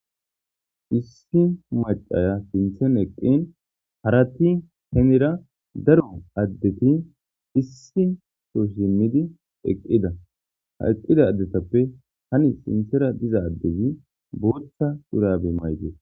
issi macaya sinthen eqqin harati hemera daro addeti issi soo shimidi eqqida ha eqqida addetappe hani sinthera diza addezi booththa dhurabe maydee